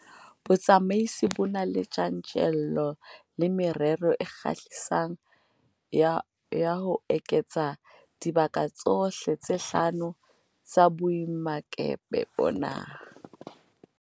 Botsamaisi bo na le tjantjello le merero e kgahlisang ya ho eketsa dibaka tsohle tse hlano tsa boemakepe bona.